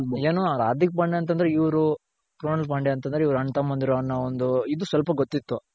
ಏನು ಹಾರ್ದಿಕ್ ಪಾಂಡೆ ಅಂತ ಅಂದ್ರೆ ಇವ್ರು. ಪಾಂಡೆ ಅಂದ್ರೆ ಅಣ್ಣತಮ್ಮಂದಿರು ಒಂದು ಇದು ಸ್ವಲ್ಪ ಗೊತ್ತಿತ್ತು